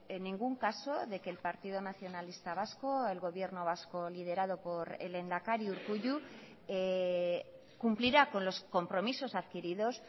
en ningún caso de que el partido nacionalista vasco el gobierno vasco liderado por el lehendakari urkullu cumplirá con los compromisos adquiridos